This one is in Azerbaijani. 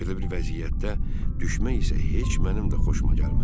Belə bir vəziyyətdə düşmək isə heç mənim də xoşuma gəlməzdi.